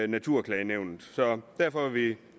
naturklagenævnet så derfor er vi